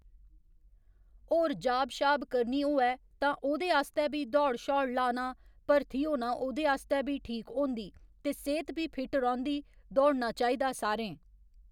होर जाब शाब करनी होऐ तां ओह्दे आस्तै बी दौड़ शौड़ लाना भर्थी होना ओह्दे आस्तै बी ठीक होंदी ते सेहत बी फिट रौहंदी दौड़ना चाहिदा सारें